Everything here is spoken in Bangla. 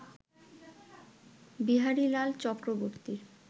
বিহারীলাল চক্রবর্তীর